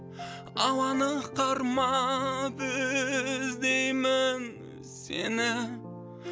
ауаны қармап іздеймін сені